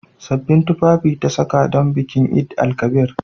Sabbin tufafi ta saka don bikin Eid-el-kabir.